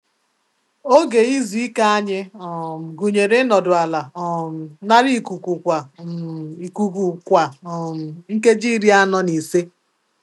Oge izu ike anyị um gụnyere i nọdụ ala um nara ikuku kwa um ikuku kwa um nkeji iri anọ na ise.